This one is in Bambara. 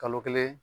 Kalo kelen